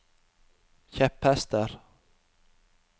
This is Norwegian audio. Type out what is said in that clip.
kjepphester